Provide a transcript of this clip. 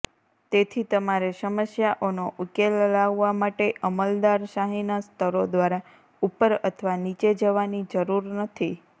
તેથી તમારે સમસ્યાઓનો ઉકેલ લાવવા માટે અમલદારશાહીના સ્તરો દ્વારા ઉપર અથવા નીચે જવાની જરૂર નથી